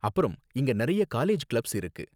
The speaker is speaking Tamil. அப்பறம் இங்க நிறைய காலேஜ் கிளப்ஸ் இருக்கு